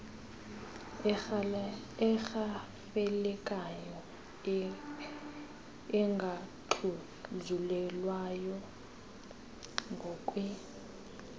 erhafelekayo engaxhuzulelwayo ngokwe